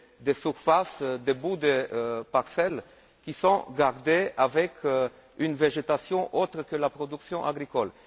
des surfaces, des bouts de parcelles qui sont gardées avec une végétation autre que la production agricole.